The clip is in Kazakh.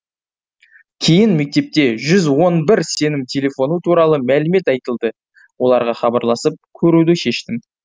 кейін мектепте жүз он бір сенім телефоны туралы мәлімет айтылды оларға хабарласып көруді шештім